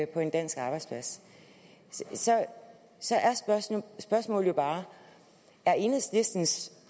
på en dansk arbejdsplads så er spørgsmålet jo bare er enhedslistens